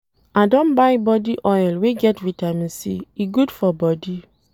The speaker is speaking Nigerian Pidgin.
I don buy body oil wey get Vitamin C, e good for bodi.